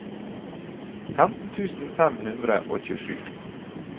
femten tusen fem hundre og tjuesju